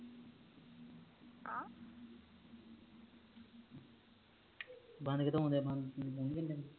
ਬੰਦ ਕਿਥੋਂ ਔਣ ਦਿਆ ਬੰਦ